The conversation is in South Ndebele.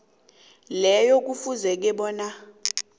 leyo kufuze bona